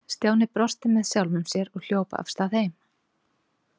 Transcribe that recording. Stjáni brosti með sjálfum sér og hljóp af stað heim.